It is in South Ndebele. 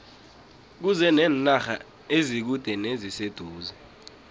kuze nenarha ezikude neziseduze